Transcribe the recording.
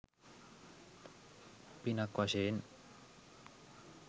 පිනක් වශයෙන්.